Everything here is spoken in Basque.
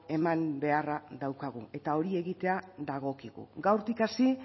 eman beharra daukagu eta hori egitea dagokigu gaurtik hasi